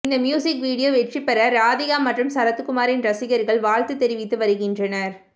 இந்த music video வெற்றி பெற ராதிகா மற்றும் சரத்குமாரின் ரசிகர்கள் வாழ்த்து தெரிவித்து வருகின்றனர்